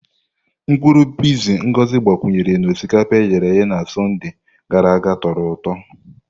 Mkpuru piizi Ngozi agbakwunyere na osikapa e ghere eghe na Sọnde gara aga tọrọ ụtọ.